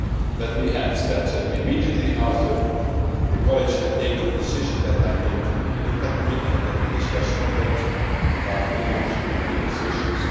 Let me add that immediately after the College had taken the decision I came to the INTA Committee and we discussed in depth the relaunching of the negotiations.